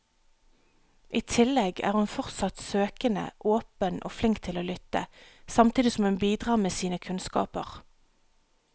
I tillegg er hun fortsatt søkende, åpen og flink til å lytte, samtidig som hun bidrar med sine kunnskaper.